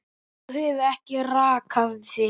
Þú hefur ekki rakað þig.